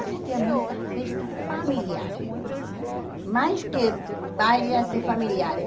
Existiam muitas festas familiares, mais que bailes assim familiares.